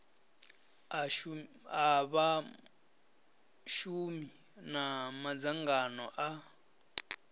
a vhashumi na madzangano a